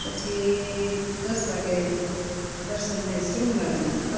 પછી દસ વાગે દર્શન થાય ના